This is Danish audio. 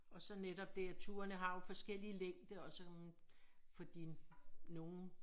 Og så netop det at turene har jo forskellig længde og sådan fordi nogen